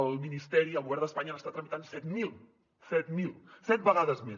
el ministeri el govern d’espanya n’està tramitant set mil set mil set vegades més